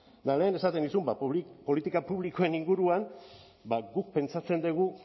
eta lehen esaten nizun ba politika publikoen inguruan ba guk pentsatzen dugu